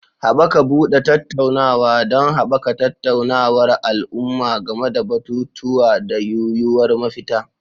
Haɓaka buɗe tattaunawa don haɓaka tattaunawar al'umma game da batutuwa da yuwuwar mafita.